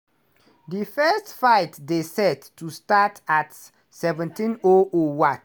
di first fight dey set to start at17:00 wat.